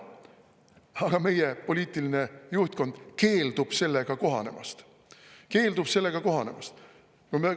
Aga meie poliitiline juhtkond keeldub sellega kohanemast – keeldub sellega kohanemast!